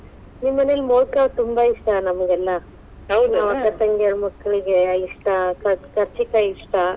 ನಿಮ್ಮನೇಲಿ ಮೊದಕಾ ತುಂಬಾ ಇಷ್ಟಾ ನಮಗೆಲ್ಲಾ. ಅಕ್ಕ ತಂಗಿಯರ್ ಮಕ್ಕಳಿಗೆ ಇಷ್ಟ, ಕಚ~ ಕಚಿ೯ಕಾಯಿ ಇಷ್ಟ.